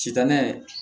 Sitanɛ